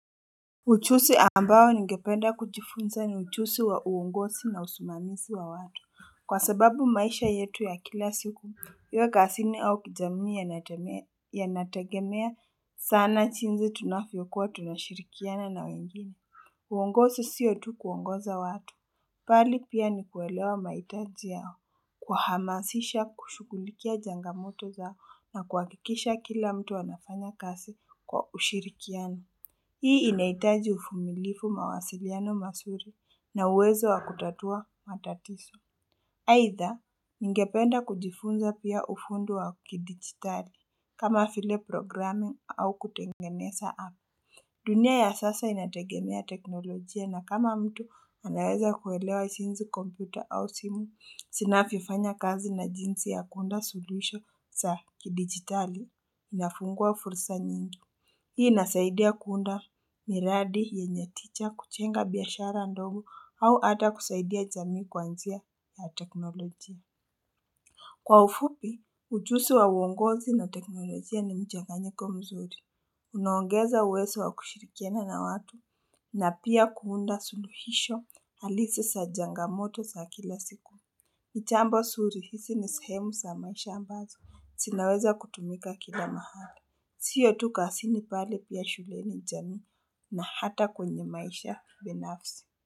Ujuzi ambao ni ngependa kujifunza ni ujuzi wa uongozi na usimamizi wa watu. Kwa sababu maisha yetu ya kila siku, iwa kazini au kijamii ya natagemea sana jinsi tunavyokuwa tunashirikiana na wengine. Uongozi siyo tu kuongoza watu. Bali pia ni kuelewa mahitaji yao kuhamasisha kushughulikia jangamoto zao na kuhakikisha kila mtu anafanya kazi kwa ushirikiano. Hii inahitaji uvumilivu mawasiliano mazuri na uwezo wa kutatua matatizo. Aidha, ninge penda kujifunza pia ufundi wa kidigitali kama vile programming au kutengeneza app. Dunia ya sasa inategemea teknolojia na kama mtu anaweza kuelewa jinsi kompyuta au simu, zinavyo fanya kazi na jinsi ya kuunda solution za kidigitali inafungua fursa nyingi. Hii inasaidia kuunda miradi yenye tija kujenga biashara ndogo au hata kusaidia jamii kwanjia ya teknolojia. Kwa ufupi, ujuzi wa uongozi na teknolojia ni mchanganyiko mzuri. Unaongeza uwezo wa kushirikiana na watu na pia kuunda suluhisho halisi za jangamoto za kila siku. Ni jambo nzuri hizi ni sehemu za maisha ambazo zinaweza kutumika kila mahali. Siyo tu kazini bali pia shuleni jamii na hata kwenye maisha binafsi.